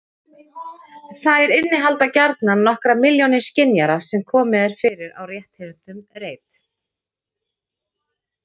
Þær innihalda gjarnan nokkrar milljónir skynjara sem komið er fyrir á rétthyrndum reit.